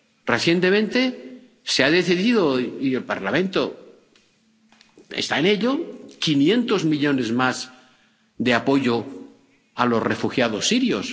Recientemente se ha decidido —y el Parlamento está en ello— destinar 500 millones más de apoyo a los refugiados sirios.